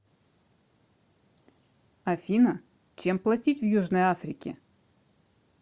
афина чем платить в южной африке